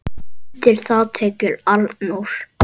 Undir það tekur Arnór.